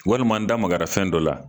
Walima n da magara fɛn dɔ la